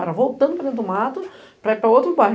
Era voltando para dentro do mato para ir para outro bairro.